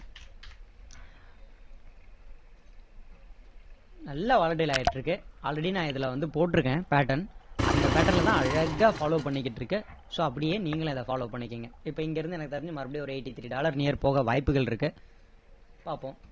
நல்லா volatile ஆகிட்டு இருக்கு already நான் இதுல வந்து போட்டுருக்கேன் pattern அந்த pattern ல தான் அழகா follow பண்ணிகிட்டு இருக்கு so அப்படியே நீங்களும் அதை follow பண்ணிக்கோங்க இப்போ இங்க இருந்து எனக்கு தெரிஞ்சி மறுபடியும் ஒரு eighty three dollar near போக வாய்ப்புகள் இருக்கு பாப்போம்